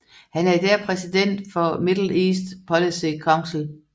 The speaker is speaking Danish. Han er i dag præsident for Middle East Policy Council